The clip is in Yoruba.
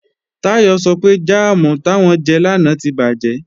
Táyọ̀ sọ pé jáàmù táwọn jẹ lánàá tí bàjẹ́